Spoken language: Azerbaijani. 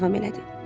Mabel davam elədi.